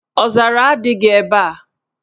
Ọzara adịghị ebe a.